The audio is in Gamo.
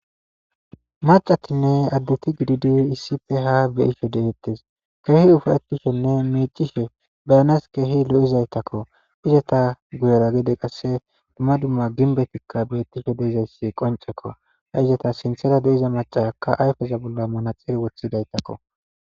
macatinne addeti gididi isife ha beyisho deettes keehi ufayetishenne meecishe beyanas keehi lo7izaytakko izeta guyera gede qasse dumma dumma ginbetikka beettisho dezayssi qoncekko ha izata sinthera deiza macaakka ayfeza bolla manaxiri wothidaytakko